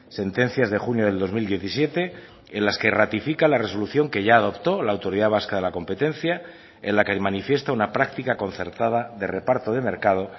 sentencias de junio del dos mil diecisiete en las que ratifica la resolución que ya adoptó la autoridad vasca de la competencia en la que manifiesta una práctica concertada de reparto de mercado